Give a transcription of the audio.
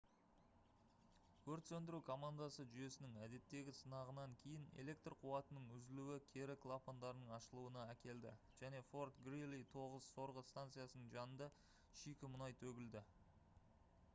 өрт сөндіру командасы жүйесінің әдеттегі сынағынан кейін электр қуатының үзілуі кері клапандардың ашылуына әкелді және fort greely 9 сорғы станциясының жанында шикі мұнай төгілді